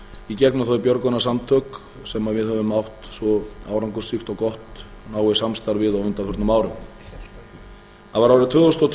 í gegnum þau björgunarsamtök sem við höfðum átt svo árangursríkt og gott náið samstarf við á undanförnum árum það var árið tvö þúsund og tvö sem